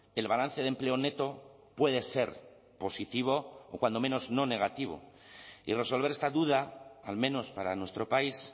el balance de empleo neto puede ser positivo o cuando menos no negativo y resolver esta duda al menos para nuestro país